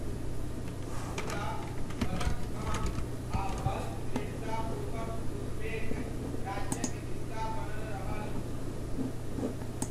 मुदा, बदख्शाँ आ बल्ख दृढ़तापूर्वक उजबेक राज्यक हिस्सा बनल रहल।